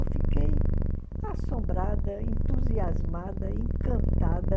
Eu fiquei assombrada, entusiasmada, encantada.